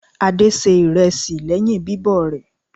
Adé se ìrẹsì lẹ́yìn bíbọ̀ rẹ̀.